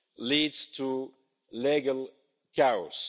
leads to legal chaos.